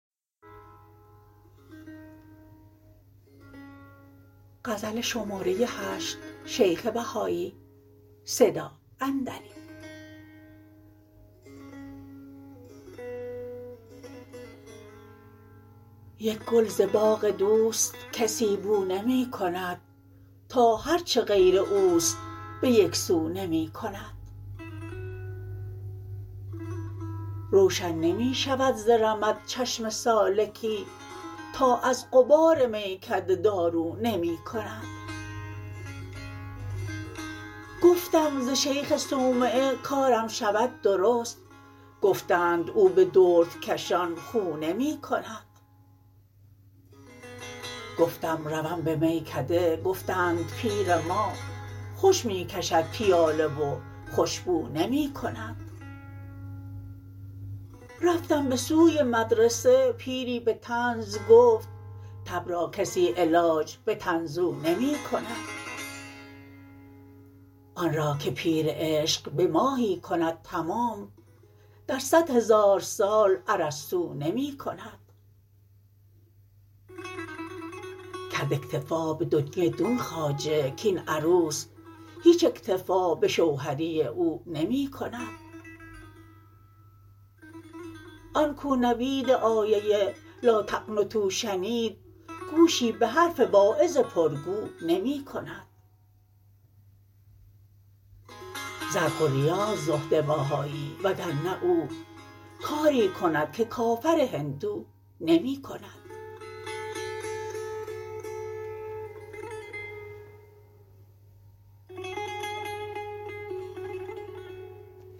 یک گل ز باغ دوست کسی بو نمی کند تا هرچه غیر اوست به یک سو نمی کند روشن نمی شود ز رمد چشم سالکی تا از غبار میکده دارو نمی کند گفتم ز شیخ صومعه کارم شود درست گفتند او به دردکشان خو نمی کند گفتم روم به میکده گفتند پیر ما خوش می کشد پیاله و خوش بو نمی کند رفتم به سوی مدرسه پیری به طنز گفت تب را کسی علاج به طنزو نمی کند آن را که پیر عشق به ماهی کند تمام در صد هزار سال ارسطو نمی کند کرد اکتفا به دنیی دون خواجه کاین عروس هیچ اکتفا به شوهری او نمی کند آن کو نوید آیه لا تقنطوا شنید گوشی به حرف واعظ پرگو نمی کند زرق و ریاست زهد بهایی وگرنه او کاری کند که کافر هندو نمی کند